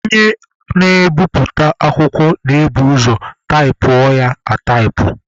Onye na-ebiputa akwụkwọ na-ebu ụzọ taịpụọ ya ataịpụ.